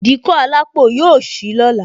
Ìdíkọ̀ alápò yọ sì lọ́la